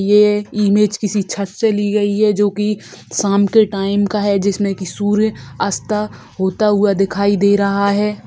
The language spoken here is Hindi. ये इमेज किसी छत से ली गयी है जो कि साम के टाइम का है जिसमें कि सूर्य अस्त होता हुआ दिखाई दे रहा है।